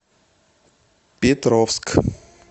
петровск